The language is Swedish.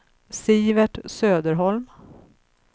Sivert Söderholm